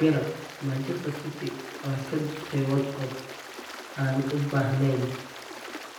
(Mirror) Manchester City waa kaa dhuftay Watford aan u baahnayn.